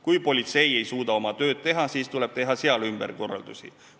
Kui politsei ei suuda oma tööd teha, siis tuleb seal teha ümberkorraldusi.